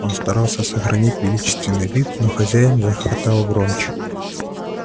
он старался сохранить величественный вид но хозяин захохотал громче